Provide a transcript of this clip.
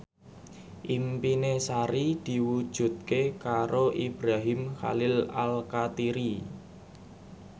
impine Sari diwujudke karo Ibrahim Khalil Alkatiri